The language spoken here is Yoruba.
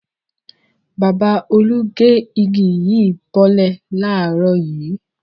Bàbá Olú gé igi yìí bọ́lẹ̀ láàárọ̀ yìí.